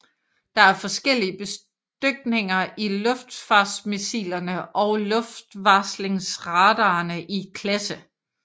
Der er forskellige bestykninger i luftforsvarsmissilerne og luftvarslingsradarerne i klasse